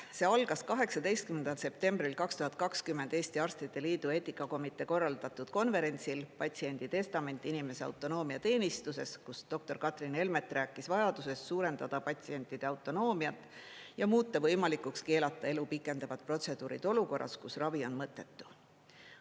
See algas 18. septembril 2020 Eesti Arstide Liidu eetikakomitee korraldatud konverentsil "Patsiendi testament inimese autonoomia teenistuses", kus doktor Katrin Elmet rääkis vajadusest suurendada patsientide autonoomiat ja muuta võimalikuks keelata elu pikendavad protseduurid olukorras, kus ravi on mõttetu.